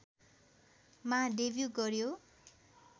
मा डेब्यु गर्‍यो